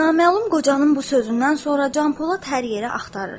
Naməlum qocanın bu sözündən sonra Canpolad hər yerə axtarır.